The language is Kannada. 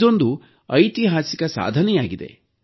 ಇದೊಂದು ಐತಿಹಾಸಿಕ ಸಾಧನೆಯಾಗಿದೆ